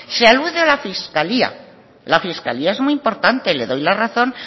se alude a la fiscalía la fiscalía es muy importante le doy la razón